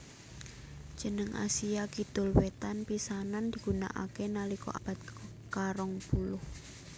Jeneng Asia Kidul Wétan pisanan digunakaké nalika abad karong puluh